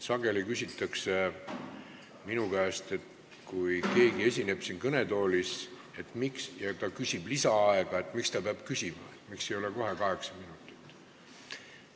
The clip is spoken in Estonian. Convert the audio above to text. Sageli küsitakse minu käest, et kui keegi esineb siin kõnetoolis ja küsib lisaaega, siis miks ta peab seda küsima, miks ei anta kohe kaheksa minutit.